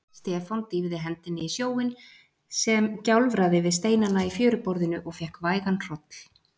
Stefán dýfði hendinni í sjóinn sem gjálfraði við steinana í fjöruborðinu og fékk vægan hroll.